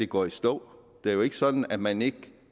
går i stå det er jo ikke sådan at man ikke kan